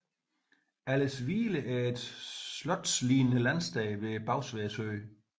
Aldershvile var et slotslignende landsted ved Bagsværd sø